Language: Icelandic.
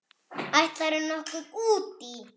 Ætlar þú nokkuð út í?